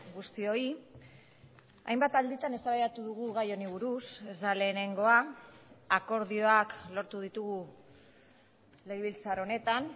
guztioi hainbat alditan eztabaidatu dugu gai honi buruz ez da lehenengoa akordioak lortu ditugu legebiltzar honetan